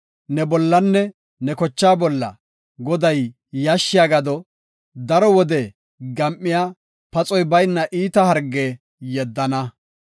ne bollanne ne kochaa bolla Goday, yashshiya gado, daro wode gam7iya, paxoy bayna iita harge yeddana.